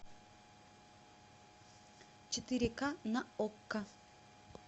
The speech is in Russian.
четыре ка на окко